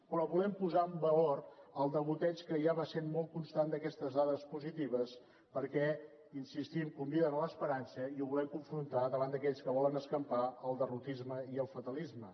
però volem posar en valor el degoteig que ja va sent molt constant d’aquestes dades positives perquè hi insistim conviden a l’esperança i ho volem confrontar davant d’aquells que volen escampar el derrotisme i el fatalisme